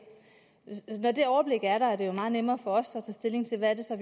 når det overblik er der er det jo meget nemmere for os at tage stilling til hvad det så